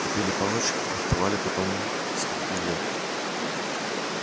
купили палочки фехтовали потом скрепили